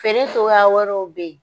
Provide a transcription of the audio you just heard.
Feere cogoya wɛrɛw bɛ yen.